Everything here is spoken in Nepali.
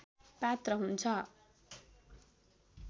पात्र हुन्छ